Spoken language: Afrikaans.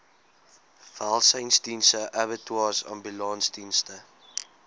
welsynsdienste abattoirs ambulansdienste